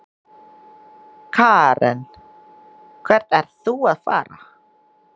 Karen: Hvert ert þú að fara?